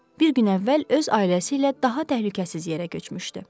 Bir gün əvvəl öz ailəsi ilə daha təhlükəsiz yerə köçmüşdü.